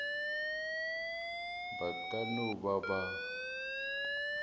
ba ka no ba ba